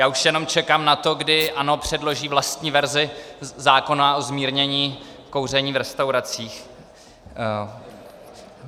Já už jenom čekám na to, kdy ANO předloží vlastní verzi zákona o zmírnění kouření v restauracích.